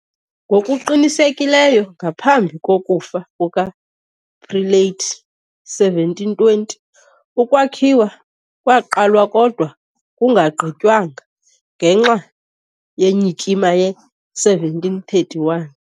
Ngokuqinisekileyo ngaphambi kokufa kukaPrelate, 1720, ukwakhiwa kwaqalwa kodwa kungagqitywanga, ngenxa yenyikima ye-1731.